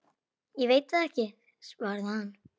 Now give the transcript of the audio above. Ég veit ekki, svaraði hann.